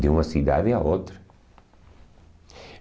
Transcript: de uma cidade a outra.